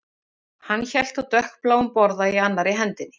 Hann hélt á dökkbláum borða í annarri hendinni